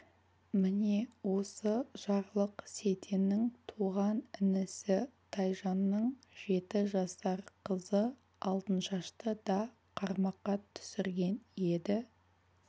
міне осы жарлық сейтеннің туған інісі тайжанның жеті жасар қызы алтыншашты да қармаққа түсірген еді